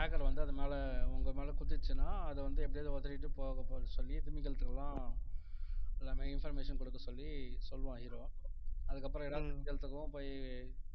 tracker வந்து அது மேல உங்க மேல குத்திடுச்சின்னா அதை வந்து எப்படியாவது உதறிட்டு போகப் போக சொல்லி திமிங்கலத்துக்கெல்லாம் எல்லாமே information குடுக்க சொல்லி சொல்லுவான் hero அதுக்கப்புறம் எல்லா திமிங்கலத்துக்கும் போய்